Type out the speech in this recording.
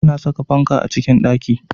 A na saka fanka a cikin ɗaki